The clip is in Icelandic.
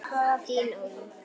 Þín, Ólöf.